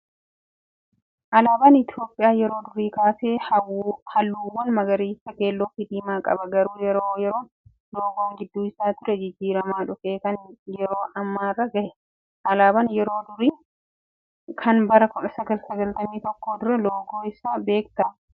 Alaabaan Itoophiyaa yeroo durii kaasee halluuwwan magariisa, keelloo fi diimaa qaba. Garuu yeroo yeroon loogoon gidduu isaa ture jijijjiiramaa dhufee kan yeroo ammaarra gahe. Alaabaa yeroo durii kan bara 1991 duraa loogoo isaa beektaa?